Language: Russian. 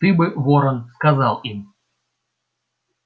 ты бы ворон сказал им